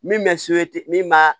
Min bɛ min b'a